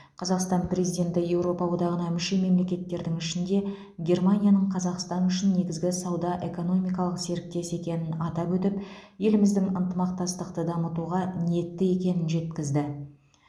қазақстан президенті еуропа одағына мүше мемлекеттердің ішінде германияның қазақстан үшін негізгі сауда экономикалық серіктес екенін атап өтіп еліміздің ынтымақтастықты дамытуға ниетті екенін жеткізді